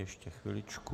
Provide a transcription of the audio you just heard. Ještě chviličku.